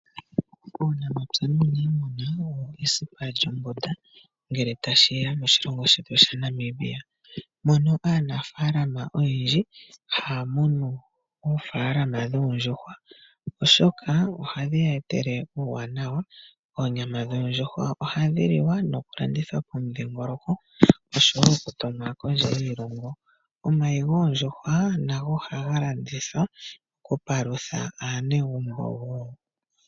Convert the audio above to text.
Uunamapya nuuniimuna owo esipa lyombunda ngele tashi ya moshilongo shetu sha Namibia, mono aanafalama oyendji haa munu oofalama dhoondjuhwa oshoka ohadhi ya etele uuwanawa. Oonyama dhoondjuhwa ohadhi li wa nokulandithwa po pomudhingoloko oshowo okutumwa kondje yiilongo. Omayi goondjuhwa nago ohaga landithwa nokupalutha aanegumbo wo.